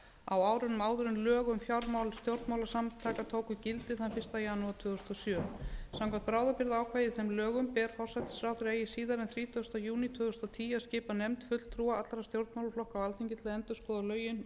á árunum áður en lög um fjármál stjórnmálasamtaka tóku gildi þann fyrsta janúar tvö þúsund og sjö samkvæmt bráðabirgðaákvæði í þeim lögum ber forsætisráðherra eigi síðar en þrítugasta júní tvö þúsund og tíu að skipa nefnd fulltrúa allra stjórnmálaflokka á alþingi til að endurskoða lögin og